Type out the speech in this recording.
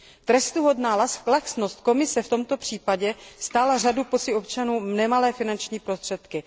Trestuhodná laxnost Komise v tomto případě stála řadu poctivých občanů nemalé finanční prostředky.